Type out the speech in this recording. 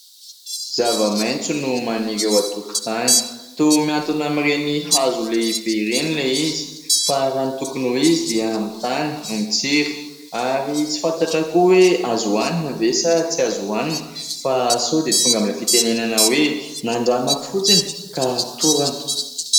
Zava-maintso no maniry eo atokontany, to mihantona amin ireny hazo lehibe ireny le izy fa raha ny tokony ho izy dia amin'ny tany no mitsiry ary tsy fantatra koa hoe azo hoanina ve sa tsy azo hoanina fa sao dia tonga amin'ilay fitenenana hoe : nandramako fotsiny ka torana .